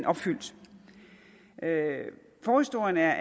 opfyldt forhistorien er